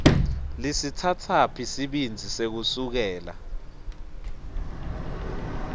lisitsatsaphi sibindzi sekusukela